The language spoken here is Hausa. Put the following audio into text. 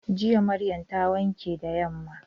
Jiya Maryam ta wanke da yamma.